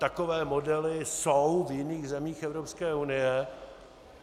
Takové modely jsou v jiných zemích Evropské unie.